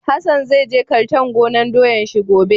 Hassan zai je kartan gonan doyan shi gobe.